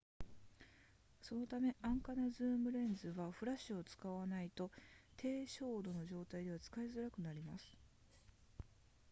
そのため安価なズームレンズはフラッシュを使わないと低照度の状態では使いづらくなります